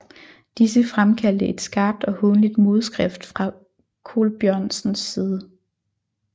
Disse fremkaldte et skarpt og hånligt modskrift fra Colbjørnsens side